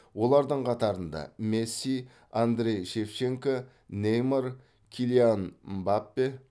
олардың қатарында месси андрей шевченко неймар киллиан мбаппе